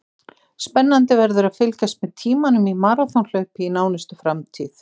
Spennandi verður að fylgjast með tímunum í maraþonhlaupi í nánustu framtíð.